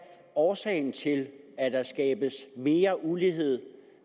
årsagen til at der skabes mere ulighed